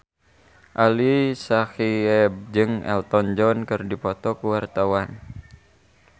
Ali Syakieb jeung Elton John keur dipoto ku wartawan